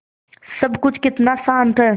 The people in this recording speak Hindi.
सब कुछ कितना शान्त है